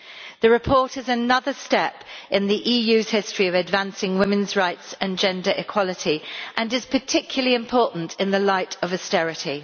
The report is another step in the EU's history of advancing women's rights and gender equality and is particularly important in the light of austerity.